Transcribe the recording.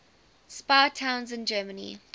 spa towns in germany